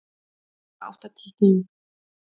Handa átta til tíu